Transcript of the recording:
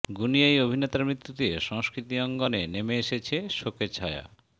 গুণী এই অভিনেতার মৃত্যুতে সংস্কৃতি অঙ্গনে নেমে এসেছে শোকের ছায়া